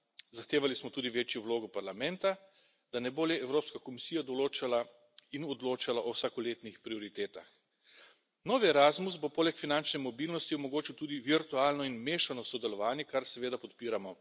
Zahtevali smo tudi večjo vlogo Parlamenta, da ne bo le Evropska komisija določala in odločala o vsakoletnih prioritetah. Novi Erasmus bo poleg finančne mobilnosti omogočil tudi virtualno in mešano sodelovanje, kar seveda podpiramo.